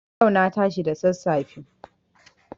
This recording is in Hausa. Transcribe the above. Yau na tashi da sassafe.